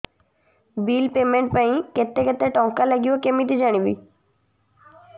bill payment ପାଇଁ କେତେ କେତେ ଟଙ୍କା ଲାଗିବ କେମିତି ଜାଣିବି